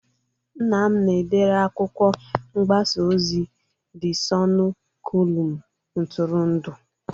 Nna m na-edere akwụkwọ ngbasa ozi De Sọnụ kọlum ntụrụndụ